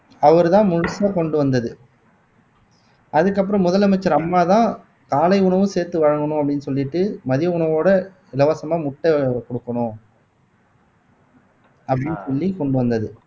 அவர்தான் முழுசா கொண்டு வந்தது அதுக்கப்புறம் முதலமைச்சர் அம்மாதான் காலை உணவும் சேர்த்து வழங்கணும் அப்படீன்னு சொல்லிட்டு மதிய உணவோட இலவசமா முட்டை கொடுக்கணும் அப்படின்னு சொல்லி கொண்டு வந்தது